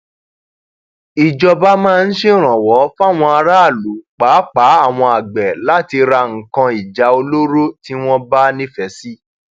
um ọpọlọpọ àwọn èèyàn ni ọrọ um yìí ń ṣe ní kàyééfì oníkálùkù sì ń sọ èrò ẹ lórí ẹrọ ayélujára